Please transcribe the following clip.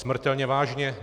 Smrtelně vážně.